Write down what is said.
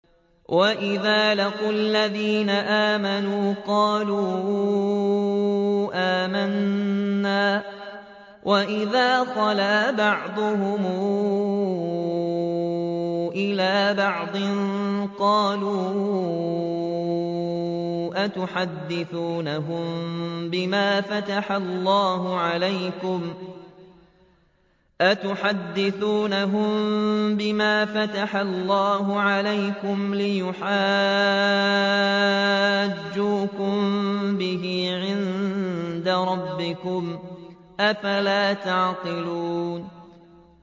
وَإِذَا لَقُوا الَّذِينَ آمَنُوا قَالُوا آمَنَّا وَإِذَا خَلَا بَعْضُهُمْ إِلَىٰ بَعْضٍ قَالُوا أَتُحَدِّثُونَهُم بِمَا فَتَحَ اللَّهُ عَلَيْكُمْ لِيُحَاجُّوكُم بِهِ عِندَ رَبِّكُمْ ۚ أَفَلَا تَعْقِلُونَ